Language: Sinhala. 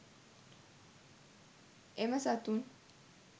එම සතුන්